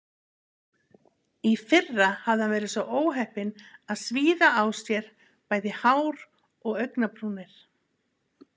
Í fyrra hafði hann verið svo óheppinn að svíða á sér bæði hár og augnabrúnir.